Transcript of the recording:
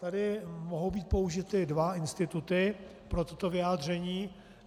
Tady mohou být použity dva instituty pro toto vyjádření.